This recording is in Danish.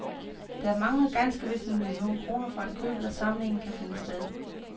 Der mangler ganske vist en million kroner for at købet af samlingen kan finde sted.